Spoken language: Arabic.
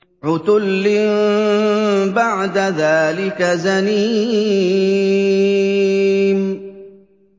عُتُلٍّ بَعْدَ ذَٰلِكَ زَنِيمٍ